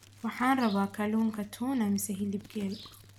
Waxaan rabaa kalluunka tuna mise hilib geel